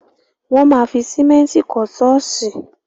Wọ́n ma fi sìmẹ́ntì kọ́ ṣọ́ọ̀ṣì.